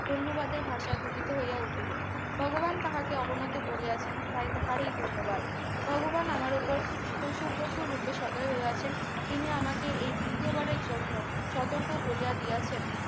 পূর্ণবাদের ভাষা উপনীত হয়ে উঠিল ভগবান তাহাকে অবনত করিয়াছেন তাই তাহারে ই ধন্যবাদ ভগবান আমার উপর পশু প্রচুর রূপে সদয় হয়ে আছেন তিনি আমাকে এই তৃতীয়বারের জন্য সতর্ক করিয়া দিয়েছেন